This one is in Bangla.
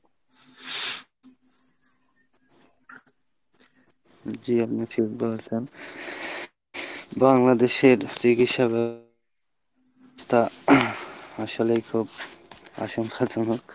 জি আপনি ঠিক বলেছেন। বাংলাদেশের চিকিৎসা ব্যবস্থা, আসলেই খুব আশংকাজনক।